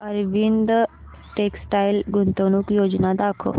Arvind textile गुंतवणूक योजना दाखव